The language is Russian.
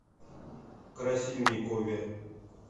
красильникове